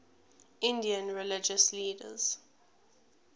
indian religious leaders